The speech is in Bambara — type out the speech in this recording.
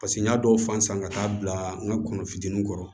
Paseke n y'a dɔw fan san ka taa bila n ka kɔnɔ fitinin kɔrɔ